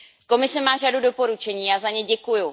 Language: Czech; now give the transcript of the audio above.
Komise má řadu doporučení, já za ně děkuju.